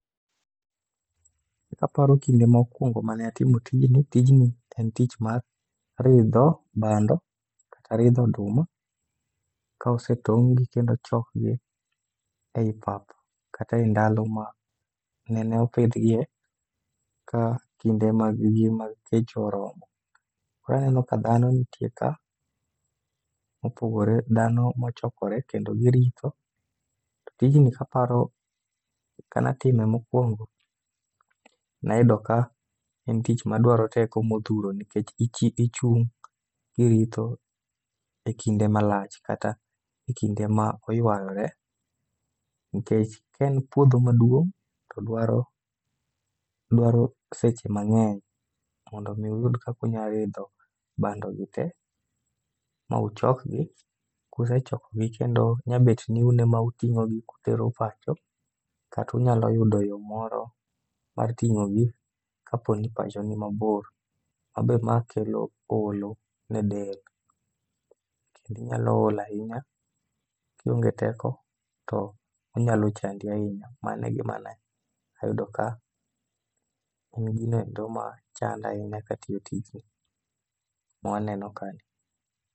E kaparo kinde mpkwongo mane atimo tijni, tijni en tich mar ridho bando kata ridho oduma ka osetong'gi kendo chokgi ei pap kata e ndalo ma nene opidhgie ka kinde mag gi mag kech oromo. Koro aneno ka dhano nitie ka, mopogore dhano mochokore kendo giritho. To tijni kaparo, ka natime mokwongo, nayudo ka en tich madwaro teko odhuro nikech ichung' iritho e kinde malach kata e kinde ma oywayore. Nikech kaen puodho maduong' to dwaro, odwaro seche mang'eny mondo mi uyud kakunya ridho bando gi te. Ma uchokgi, kusechokogi kendo nyabet ni un ema uting'o gi kutero pacho. Katunyalo yudo yo moro mar ting'o gi kaponi pacho ni mabor. Mabe ma kelo olo ne del, kendi nya ol ahinya. Kionge teko to onyalo chandi ahinya. Mano e gima ne ayudo ka en ginoendo ma chanda ahinya katiyo tijni, mwaneno ka ni.